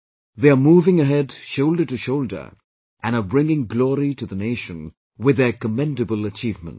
They are moving ahead shoulder to shoulder and are bringing glory to the nation with their commendable achievements